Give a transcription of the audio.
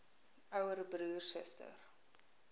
ouer broer suster